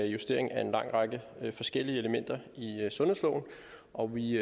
justering af en lang række forskellige elementer i sundhedsloven og vi